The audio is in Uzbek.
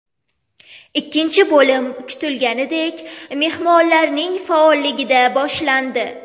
Ikkinchi bo‘lim kutilganidek mehmonlarning faolligida boshlandi.